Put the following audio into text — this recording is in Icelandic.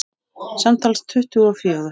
Samtals tuttugu og fjögur.